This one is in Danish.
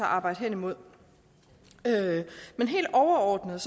arbejde hen imod men helt overordnet